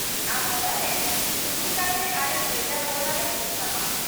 -ᱟᱢ ᱚᱱᱟᱨᱮ ᱥᱩᱦᱤ ᱠᱟᱛᱮ ᱟᱞᱮ ᱵᱷᱮᱡᱟ ᱨᱩᱣᱟᱹᱲᱟᱞᱮ ᱦᱩᱭᱩᱜ ᱛᱟᱢᱟ ᱾